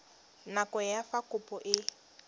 nako ya fa kopo e